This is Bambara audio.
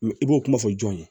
i b'o kuma fɔ jɔn ye